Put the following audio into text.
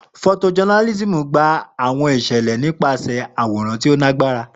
Photojournalism gba awọn iṣẹlẹ nipasẹ awọn wiwo ti o lagbara.